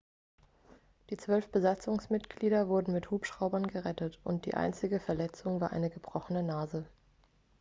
die zwölf besatzungsmitglieder wurden mit hubschraubern gerettet und die einzige verletzung war eine gebrochene nase